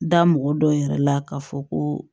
Da mɔgɔ dɔw yɛrɛ la k'a fɔ ko